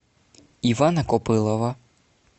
ивана копылова